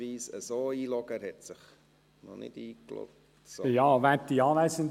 Ich logge ihn ausnahmsweise von hier aus ein.